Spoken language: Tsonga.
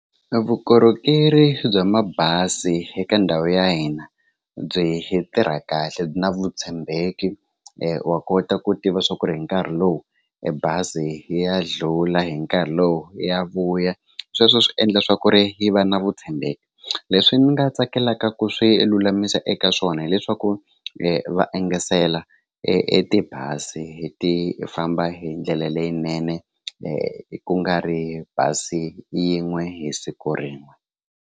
Vukorhokeri bya mabazi eka ndhawu ya hina byi tirha kahle na vutshembeki wa kota ku tiva swa ku ri hi nkarhi lowu e bazi ya dlula hi nkarhi lowu ya vuya sweswo swi endla swa ku ri yi va na vutshembeki leswi ni nga tsakelaka ku swi lulamisa eka swona hileswaku va engesela e tibazi ti famba hi ndlela leyinene ku nga ri bazi yin'we hi siku rin'we.